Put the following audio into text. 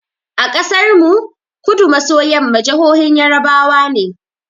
A ƙasar mu, Kudu maso yamma jahohin yarbawa ne.